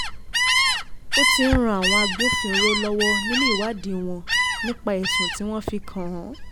ó ti ń ran àwọn agbófinró lọ́wọ́ nínú ìwádì wọn nípa ẹ̀sùn tí wọ́n fi kàn án